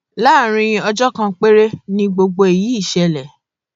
láàrin ọjọ kan péré in gbogbo èyí ṣẹlẹ